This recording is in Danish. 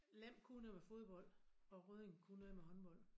Lem kunne noget med fodbold og Rødding kunne noget med håndbold